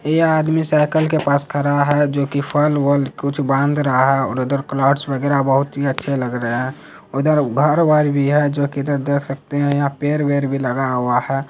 ये आदमी साइकल के पास खड़ा हैं जो की फल वल कुछ बांध रहा हैं और उधर क्लॉथस वगैरा बहुत अच्छे लगे रहे हैं उधर घर वर भी हैं जो की इधर देख सकते हैं यहाँ पेड़ वेर भी लगा हुआ हैं।